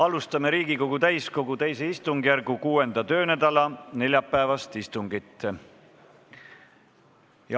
Alustame Riigikogu täiskogu II istungjärgu 6. töönädala neljapäevast istungit.